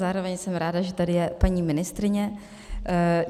Zároveň jsem ráda, že tady je paní ministryně.